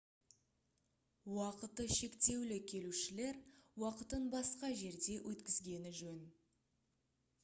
уақыты шектеулі келушілер уақытын басқа жерде өткізгені жөн